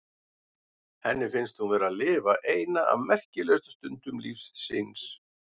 Henni finnst hún vera að lifa eina af merkilegustu stundum lífs síns.